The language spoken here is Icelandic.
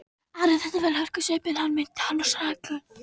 Ari þekkti vel hörkusvipinn, hann minnti hann á snæuglu.